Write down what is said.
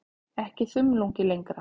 Ekki þumlungi lengra.